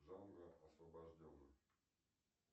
джанго освобожденный